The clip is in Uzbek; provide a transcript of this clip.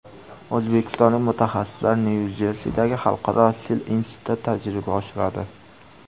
O‘zbekistonlik mutaxassislar Nyu-Jersidagi Xalqaro sil institutida tajriba oshiradi.